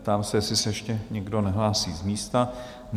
Ptám se, jestli se ještě někdo nehlásí z místa?